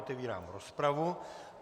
Otevírám rozpravu.